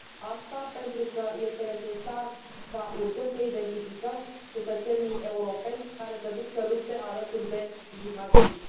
Asta pentru că este necesar ca urgent să identificăm cetățenii europeni care se duc să lupte alături de jihadiști.